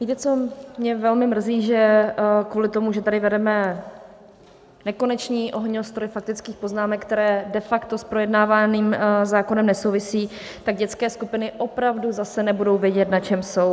Víte co, mě velmi mrzí, že kvůli tomu, že tady vedeme nekonečný ohňostroj faktických poznámek, které de facto s projednávaným zákonem nesouvisejí, tak dětské skupiny opravdu zase nebudou vědět, na čem jsou.